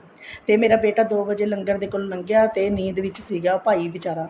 ਤੇ ਮੇਰਾ ਬੇਟਾ ਦੋ ਵਜੇ ਲੰਗਰ ਦੇ ਕੋਲੋਂ ਲੰਗਿਆ ਤੇ ਨੀਂਦ ਵਿੱਚ ਸੀਗਾ ਭਾਈ ਵਿਚਾਰਾ